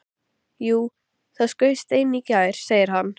Jú, það skaust ein í gær, segir hann.